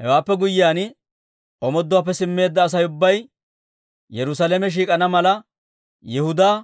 Hewaappe guyyiyaan, omooduwaappe simmeedda Asay ubbay Yerusaalame shiik'ana mala, Yihudaa